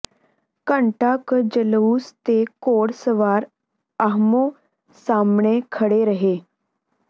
ਘੰਟਾ ਕੁ ਜਲੂਸ ਤੇ ਘੋੜ ਸਵਾਰ ਆਹਮੋ ਸਾਹਮਣੇ ਖੜ੍ਹੇ ਰਹੇ